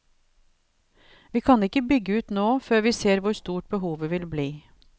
Vi kan ikke bygge ut nå, før vi ser hvor stort behovet vil bli.